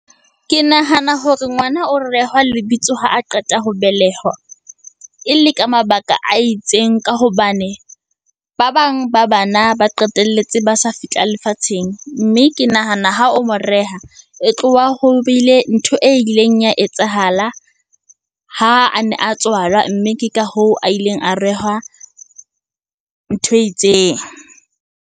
Ke nahana hore ngwana o rehwa lebitso ha a qeta ho belehwa e le ka mabaka a itseng. Ka hobane, ba bang ba bana ba qetelletse ba sa fihla lefatsheng. Mme ke nahana ha o mo reha, e tloha ho bile ntho e ileng ya etsahala ha a ne a tswalwa. Mme ke ka hoo a ileng a rehwa ntho e itseng.